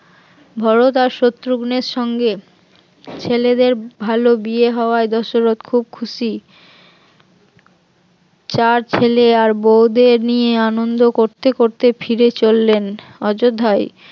ভরত আর শত্রুঘ্নর সঙ্গে ছেলেদের ভালো বিয়ে হওয়ায় দশরথ খুব খুশি চার ছেলে আর বৌদের নিয়ে আনন্দ করতে করতে ফিরে চললেন অযোধ্যায়